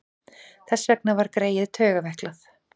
Þess vegna var greyið taugaveiklað.